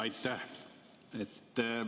Aitäh!